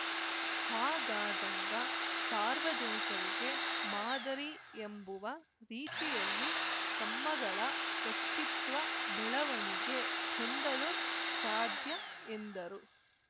ಹಾಗಾದಾಗ ಸಾರ್ವಜನಿಕರಿಗೆ ಮಾದರಿ ಎಂಬುವ ರೀತಿಯಲ್ಲಿ ತಮ್ಮಗಳ ವ್ಯಕ್ತಿತ್ವ ಬೆಳವಣಿಗೆ ಹೊಂದಲು ಸಾದ್ಯ ಎಂದರು